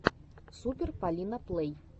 супер полина плэй